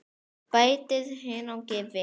Bætið hunangi við.